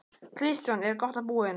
Kristján: Er gott að búa hérna?